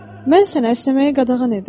Mən sənə əsnəməyi qadağan edirəm.